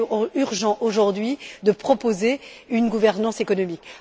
Il est urgent aujourd'hui de proposer une gouvernance économique.